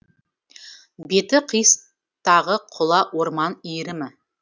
беті қиыстағы құла орман иірімі